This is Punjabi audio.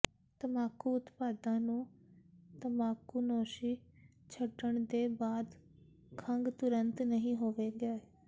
ਤਮਾਕੂ ਉਤਪਾਦਾਂ ਨੂੰ ਤਮਾਕੂਨੋਸ਼ੀ ਛੱਡਣ ਦੇ ਬਾਅਦ ਖੰਘ ਤੁਰੰਤ ਨਹੀਂ ਹੋਵੇਗੀ